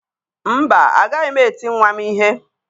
Mba, agaghị m eti nwa m ihe